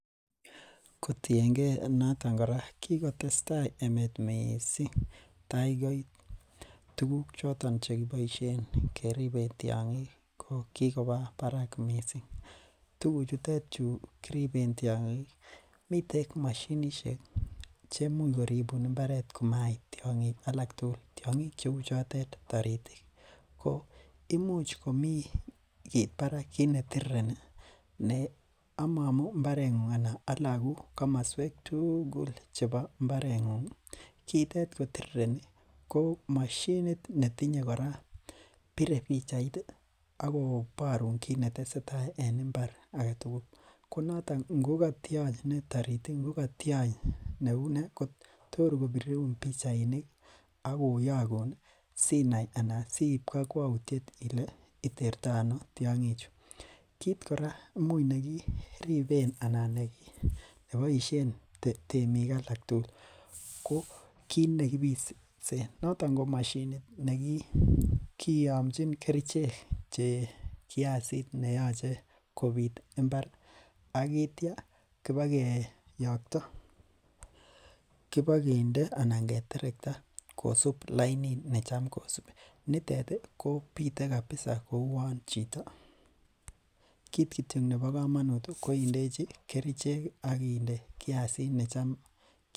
Kotiengee noton kora kikotesta emet mising takoit tuguk choton chekiboishen keriben tiongik kokiwobarak mising tuguchutet chu kiribsen tiongik miten moshinishek chemuch koribun mbaret komait tiongik alak tugul tiongik cheu chotet taritik imuch komi kit Barak kit netireti amoomu mbarbengung Alan alaku kamoswek tugul chepo mbarbengungi kitet kotirireni kou moshinit netinye kora bire pichait akoborun kit neteseta en mbaret agetugul konotok ngo kotiony ne tarit ii ngo kotiony ne uneeko torkopirun pichainik ak koyogun Sinai Ana siip kakwautiet Ile itertoono tiongichu kit kora imuch nekiripen anan nemoishen temik Alak tugul kokitnekipishen notok ko moshinit nekiyomchin kerichek ne kasit neyoche kobit mbar i ak itya kipak kiyokto kinokinde ana keterkta kosup lainit necham kosubi nitetikobite kapisa koun chito kit kityok nepo komonut koindechi kericheki ak indechi kiasit necham